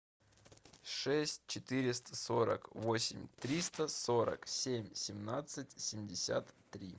шесть четыреста сорок восемь триста сорок семь семнадцать семьдесят три